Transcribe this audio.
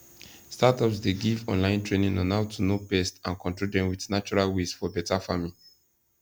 startups dey give online training on how to know pests and control dem with natural ways for better farming